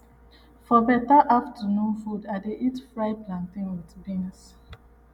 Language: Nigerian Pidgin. for better afternoon food i dey eat fried plantain with beans